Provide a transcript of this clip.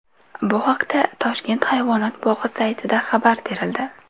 Bu haqda Toshkent hayvonot bog‘i saytida xabar berildi .